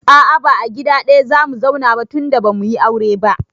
A'a ba gida ɗaya zamu zauna ba tunda bamuyi aure ba